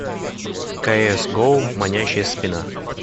кс гоу манящая спина